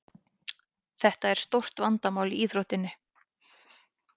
Þetta er stórt vandamál í íþróttinni.